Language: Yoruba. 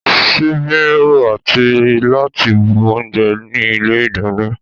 Ṣíbí ń ro àti láti bu oúnjẹ ní ilé ìdáná